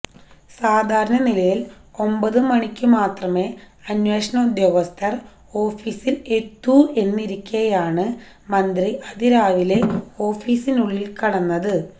സാധാരണ നിലയിൽ ഒമ്പതു മണിക്കു മാത്രമേ അന്വേഷണ ഉദ്യോഗസ്ഥർ ഓഫിസിൽ എത്തൂ എന്നിരിക്കെയാണ് മന്ത്രി അതിരാവിലെ ഓഫിസിനുള്ളിൽ കടന്നത്